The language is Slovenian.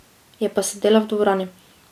Je pa sedela v dvorani.